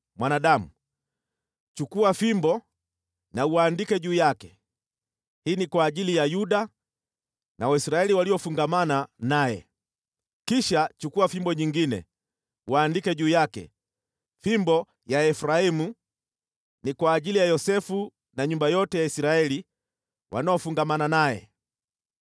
“Mwanadamu, chukua fimbo na uandike juu yake, ‘Hii ni kwa ajili ya Yuda na Waisraeli waliofungamana naye.’ Kisha chukua fimbo nyingine, uandike juu yake, ‘Fimbo ya Efraimu, ni kwa ajili ya Yosefu na nyumba yote ya Israeli wanaofungamana naye.’